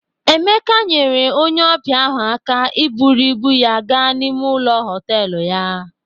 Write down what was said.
Emeka nyere onye ọbịa ahụ aka iburu ibu ya gaa n'ime ụlọ họtelu ya